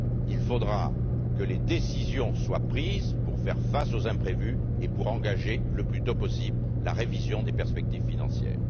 Il faudra que les décisions soient prises pour faire face aux imprévus, et pour engager le plus tôt possible la révision des perspectives financières!